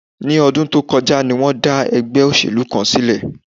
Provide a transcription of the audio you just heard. Ní ọdún tó kọjá ni wọ́n dá ẹgbẹ́ òṣèlú kan sílẹ̀